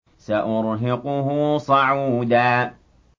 سَأُرْهِقُهُ صَعُودًا